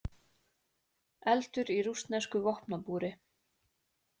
Eldur í rússnesku vopnabúri